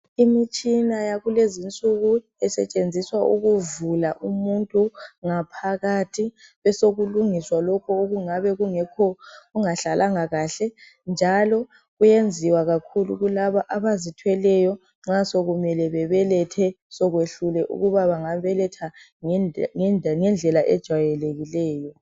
Imitshina yakulezinsuku esetshenziswa ukuvula umuntu ngaphakathi besokulungiswa lokho okungabe kungekho okungahlalanga kahle njalo kuyenziwa kakhulu kulaba abazithweleyo nxa sokumele bebelethe sokwehlule ukuba bangabeletha ngendle ngendlela ejwayelekileyo.